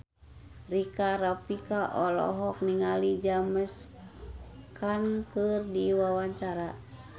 Rika Rafika olohok ningali James Caan keur diwawancara